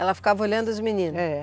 Ela ficava olhando os meninos? é